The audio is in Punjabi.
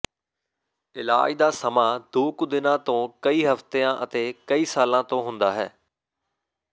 ਇਲਾਜ ਦਾ ਸਮਾਂ ਦੋ ਕੁ ਦਿਨਾਂ ਤੋਂ ਕਈ ਹਫਤਿਆਂ ਅਤੇ ਕਈ ਸਾਲਾਂ ਤੋਂ ਹੁੰਦਾ ਹੈ